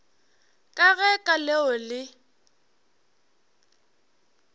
ka ge ka leo le